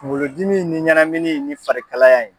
Kunkolodimi ni ɲɛnaminɛ ni farikalaya ye.